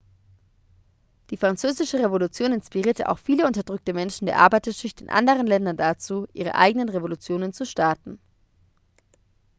die französische revolution inspirierte auch viele unterdrückte menschen der arbeiterschicht in anderen ländern dazu ihre eigenen revolutionen zu starten